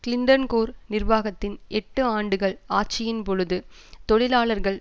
Clinton Gore நிர்வாகத்தின் எட்டு ஆண்டுகள் ஆட்சியின் பொழுது தொழிலாளர்கள்